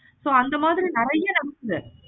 so அந்த மாதிரி நெறைய இருக்கு.